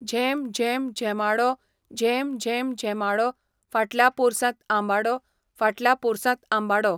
झेम झेम झेमाडो, झेम झेम झेमाडो फाटल्या पोरसांत आंबाडो, फाटल्या पोरसांत आंबाडो.